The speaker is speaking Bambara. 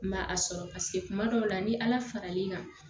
N ma a sɔrɔ paseke kuma dɔw la ni ala fara l'i kan